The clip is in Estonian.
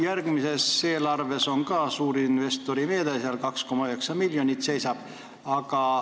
Järgmises eelarves on ka suurinvestori meede – kirjas on 2,9 miljonit.